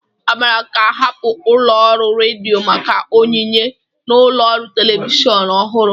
Amara ga-ahapụ ụlọ ọrụ redio maka onyinye na ụlọ ọrụ telivishọn ọhụrụ